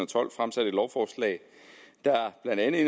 tolv fremsat et lovforslag der blandt andet